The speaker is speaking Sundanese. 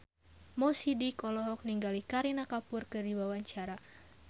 Mo Sidik olohok ningali Kareena Kapoor keur diwawancara